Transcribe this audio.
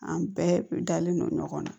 An bɛɛ dalen don ɲɔgɔn na